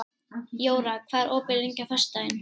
Jóra, hvað er opið lengi á föstudaginn?